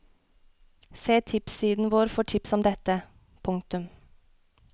Se tipssiden vår for tips om dette. punktum